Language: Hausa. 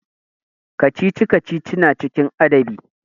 Kacici-kacici na cikin adabi.